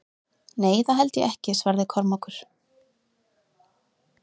Nei, það held ég ekki, svaraði Kormákur.